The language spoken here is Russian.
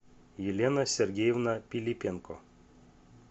елена сергеевна пилипенко